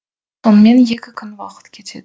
сонымен екі күн уақыт кетеді